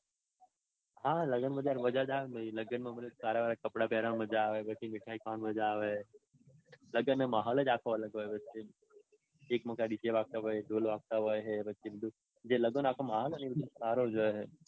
હા લગાનમાંતો મજા જ આવે ને. લગનમાં સારા સારા કપડાં પેરવાની મજા આવે. પછી મીઠાઈ ખાવાની મજા આવે. લગનનો માહોલ જ આખો અલગ હોય. એક બાજુ dj વાગતા હોય ઢોલ વાગતા હોય હે.